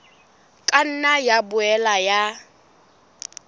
ka nna ya boela ya